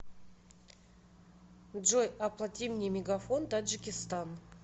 джой оплати мне мегафон таджикистан